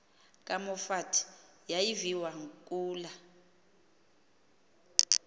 kamoffat yayiviwa kula